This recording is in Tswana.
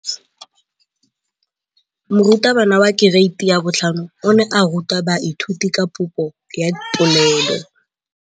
Moratabana wa kereiti ya 5 o ne a ruta baithuti ka popô ya polelô.